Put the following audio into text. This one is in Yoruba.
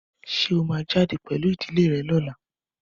Ṣé ó máa jáde pẹ̀lú ìdílé rẹ̀ ní ọ̀la?